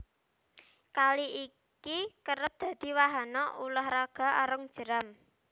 Kali iki kerep dadi wahana ulah raga arung jeram